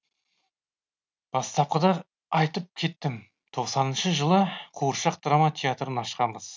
бастапқыда айтып кеттім тоқсаныншы жылы қуыршақ драма театрын ашқанбыз